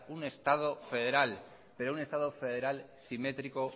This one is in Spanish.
un estado federal pero un estado federal simétrico